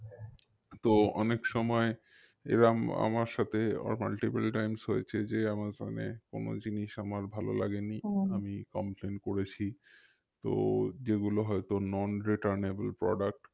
তো অনেক সময় এরম আমার সাথে multiple times হয়েছে যে আমাজনে কোনো জিনিস আমার ভালো লাগেনি আমি complain করেছি তো যেগুলো হয়তো non returnable product